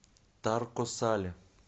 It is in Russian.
тарко сале